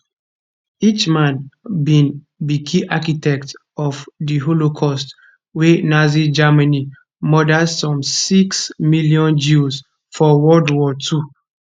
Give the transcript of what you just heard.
eichmann bin be key architect of di holocaust wia nazi germany murder some six million jews for world war ii